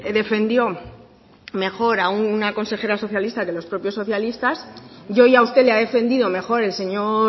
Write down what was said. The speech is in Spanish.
defendió mejor a una consejera socialista de los propios socialistas y hoy a usted le ha defendido mejor el señor